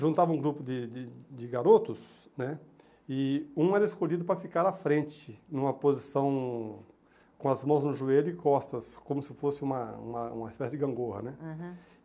juntava um grupo de de de garotos, né, e um era escolhido para ficar à frente, numa posição com as mãos no joelho e costas, como se fosse uma uma uma espécie de gangorra, né. Aham